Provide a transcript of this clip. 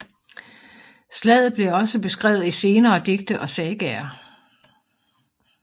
Slaget blev også beskrevet i senere digte og sagaer